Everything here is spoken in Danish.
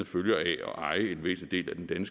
følger af at eje en væsentlig del af den